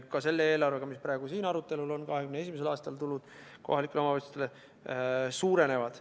Ka selle eelarvega, mis praegu siin arutelul on, 2021. aastal tulud kohalikel omavalitsustel suurenevad.